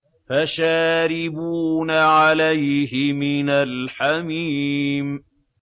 فَشَارِبُونَ عَلَيْهِ مِنَ الْحَمِيمِ